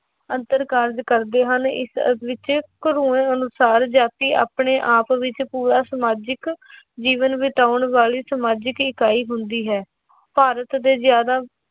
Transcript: ਅੰਤਰ ਕਾਰਜ਼ ਕਰਦੇ ਹਨ ਇਸ ਵਿੱਚ ਅਨੁਸਾਰ ਜਾਤੀ ਆਪਣੇ ਆਪ ਵਿੱਚ ਪੂਰਾ ਸਮਾਜਿਕ ਜੀਵਨ ਬਿਤਾਉਣ ਵਾਲੀ ਸਮਾਜਿਕ ਇਕਾਈ ਹੁੰਦੀ ਹੈ, ਭਾਰਤ ਦੇ ਜ਼ਿਆਦਾ